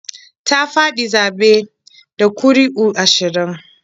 Ta faɗi zaɓe da ƙuri'u ashirin.